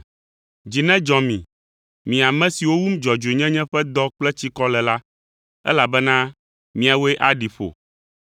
Dzi nedzɔ mi, mi ame siwo wum dzɔdzɔenyenye ƒe dɔ kple tsikɔ le la, elabena miawoe aɖi ƒo.